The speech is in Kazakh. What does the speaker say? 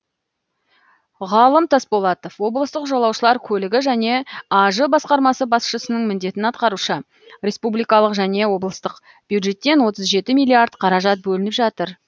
ғалым тасболатов облыстық жолаушылар көлігі және аж басқармасы басшысының міндетін атқарушы республикалық және облыстық бюджеттен отыз жеті миллиард қаражат бөлініп жатыр